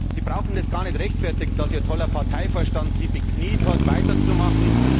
Sie brauchen das gar nicht damit zu rechtfertigen, dass Ihr toller Parteivorstand Sie bekniet hat, weiterzumachen.